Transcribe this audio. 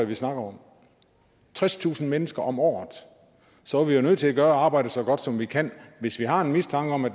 vi snakker om tredstusind mennesker om året så er vi jo nødt til at gøre arbejdet så godt som vi kan hvis vi har en mistanke om at